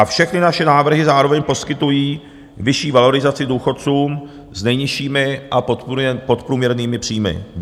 A všechny naše návrhy zároveň poskytují vyšší valorizaci důchodcům s nejnižšími a podprůměrnými příjmy.